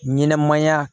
Ɲɛnɛmaya